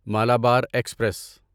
Malabar express